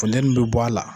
Funteni bɛ bɔ a la